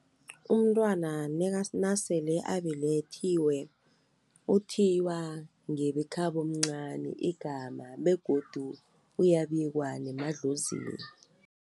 Umntwana nasele abelethiwe uthiywa ngebekhabo omncani igama begodu uyabikwa nemadlozini.